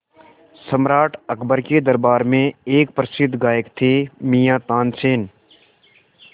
सम्राट अकबर के दरबार में एक प्रसिद्ध गायक थे मियाँ तानसेन